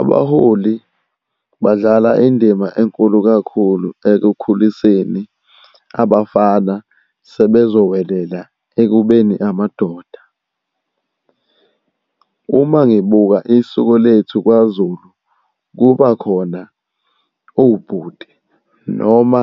Abaholi badlala indima enkulu kakhulu ekukhuliseni abafana sebezowelela ekubeni amadoda. Uma ngibuka isiko lethu kwaZulu, kuba khona obhuti noma